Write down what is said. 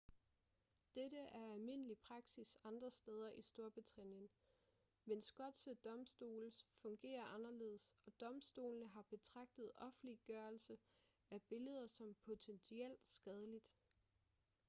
dette er almindelig praksis andre steder i storbritannien men skotske domstole fungerer anderledes og domstolene har betragtet offentliggørelse af billeder som potentielt skadeligt